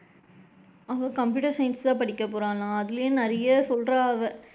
அவ computer science தான் படிக்க போறாளாம் அதுலயும் நிறைய சொல்றா அவ,